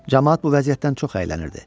Camaat bu vəziyyətdən çox əylənirdi.